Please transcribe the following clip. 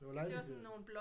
Det var lejlighed